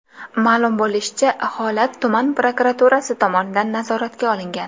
Ma’lum bo‘lishicha, holat tuman prokuraturasi tomonidan nazoratga olingan.